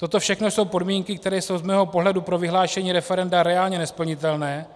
Toto všechno jsou podmínky, které jsou z mého pohledu pro vyhlášení referenda reálně nesplnitelné